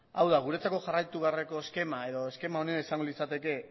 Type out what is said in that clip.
hau da guretzako jarraitu beharreko eskema edo eskema onena izango litzateke